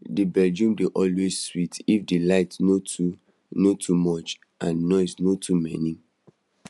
the bedroom dey always sweet if the light no too no too much and noise no too many